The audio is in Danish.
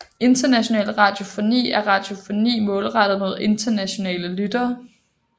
International radiofoni er radiofoni målrettet mod internationale lyttere